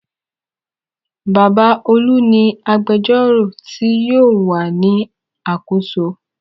Bàbá Olú ni agbẹjọ́rò tí yóò wà ní àkóso.